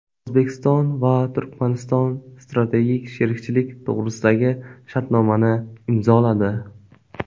O‘zbekiston va Turkmaniston Strategik sherikchilik to‘g‘risidagi shartnomani imzoladi.